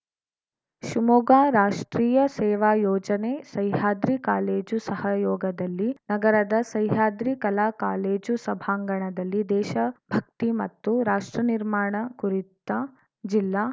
ಶಿವಮೊಗ್ಗ ರಾಷ್ಟ್ರೀಯ ಸೇವಾ ಯೋಜನೆ ಸಹ್ಯಾದ್ರಿ ಕಾಲೇಜು ಸಹಯೋಗದಲ್ಲಿ ನಗರದ ಸಹ್ಯಾದ್ರಿ ಕಲಾ ಕಾಲೇಜು ಸಭಾಂಗಣದಲ್ಲಿ ದೇಶ ಭಕ್ತಿ ಮತ್ತು ರಾಷ್ಟ್ರ ನಿರ್ಮಾಣ ಕುರಿತ ಜಿಲ್ಲಾ